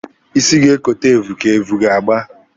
Isi ga-ekote evu ka evu ga-agba!